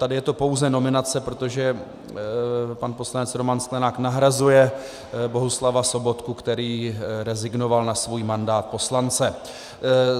Tady je to pouze nominace, protože pan poslanec Roman Sklenák nahrazuje Bohuslava Sobotku, který rezignoval na svůj mandát poslance.